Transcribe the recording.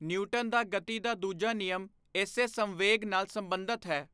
Newton ਦਾ ਗਤੀ ਦਾ ਦੂਜਾ ਨਿਯਮ ਇਸੀ ਸੰਵੇਗ ਨਾਲ ਸਬੰਧਤ ਹੈ।